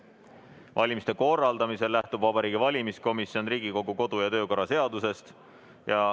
Valimiste korraldamisel lähtub Vabariigi Valimiskomisjon Riigikogu kodu- ja töökorra seadusest.